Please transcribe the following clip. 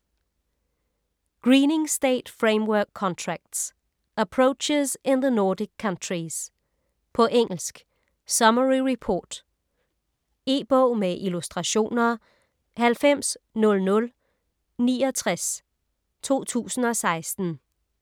Greening state framework contracts - Approaches in the Nordic countries På engelsk. Summary Report. E-bog med illustrationer 900069 2016.